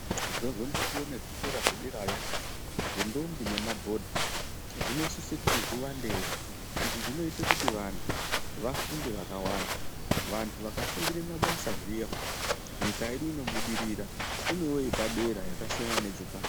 Zvozondotiwo nezvikora zvederayo zvendombi nemadhodha zvinosise kuti zviwandewo izvi zvinoite kuti vanthu vafunde vakawanda vanthu vakafundire mabasa zviya nyika yedu inobudirira inove yepadera yakasiyana nepashi.